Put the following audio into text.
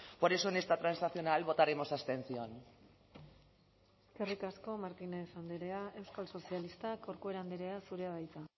por eso en esta transaccional votaremos abstención eskerrik asko martínez andrea euskal sozialistak corcuera andrea zurea da hitza